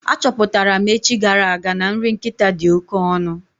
A chọpụtara m echi gara aga na nri nkịta dị oké ọnụ.